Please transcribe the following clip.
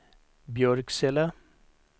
Björksele